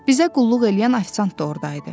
Bizə qulluq eləyən ofisiant da ordaydı.